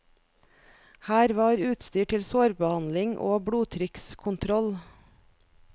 Her var utstyr til sårbehandling og blodtrykkskontroll.